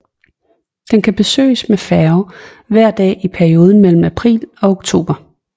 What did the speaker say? Den kan besøges med færge hver dag i perioden mellem april og oktober